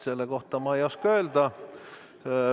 Selle kohta ma ei oska midagi öelda.